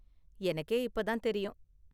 எனக்கே இப்ப தான் தெரியும்.